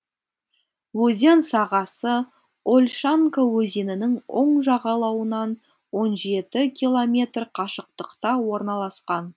өзен сағасы ольшанка өзенінің оң жағалауынан он жеті километр қашықтықта орналасқан